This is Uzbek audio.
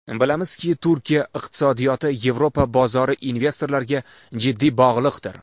Bilamizki, Turkiya iqtisodiyoti Yevropa bozori investorlariga jiddiy bog‘liqdir.